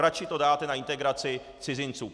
Radši to dáte na integraci cizinců!